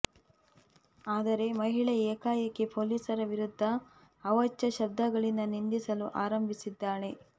ಆದರೆ ಮಹಿಳೆ ಏಕಾಏಕಿ ಪೊಲೀಸರ ವಿರುದ್ಧ ಅವಾಚ್ಯ ಶಬ್ದಗಳಿಂದ ನಿಂದಿಸಲು ಆರಂಭಿಸಿದ್ದಾಳೆ